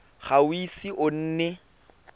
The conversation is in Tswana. ga o ise o nne